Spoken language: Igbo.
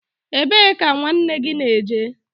Ebe ka nwanne gị na-eje?